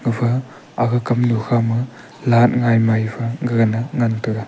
gafa aga kamnu kha ma light gai mei phai gagan ngan tega.